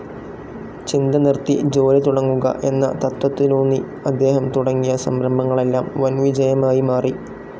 ചിന്ത നിർത്തി ജോലി തുടങ്ങുക എന്ന തത്ത്വത്തിലൂന്നി അദ്ദേഹം തുടങ്ങിയ സംരംഭങ്ങളെല്ലാം വൻ വിജയമായി മാറി.